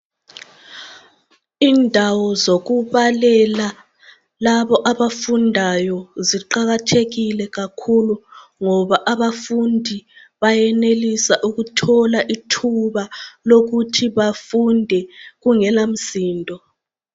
Indawo zokubalela labo abafundayo ziqakathekile kakhulu. Ngoba abafundi bayenelisa ukuthola ithuba lokuthi bafunde kungelamsindo.